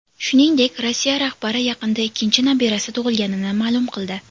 Shuningdek, Rossiya rahbari yaqinda ikkinchi nabirasi tug‘ilganini ma’lum qildi.